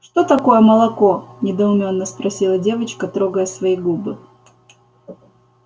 что такое молоко недоумённо спросила девочка трогая свои губы